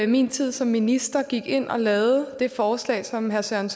min tid som minister gik ind og lavede det forslag som herre søren